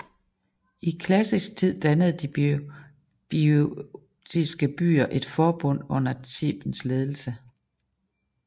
I klassisk tid dannede de boiotiske byer et forbund under Thebens ledelse